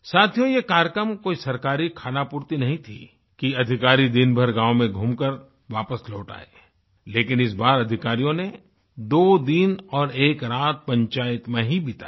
साथियो ये कार्यक्रम कोई सरकारी खानापूर्ति नहीं थी कि अधिकारी दिन भर गाँव में घूमकर वापस लौट आएँ लेकिन इस बार अधिकारीयों ने दो दिन और एक रात पंचायत में ही बिताई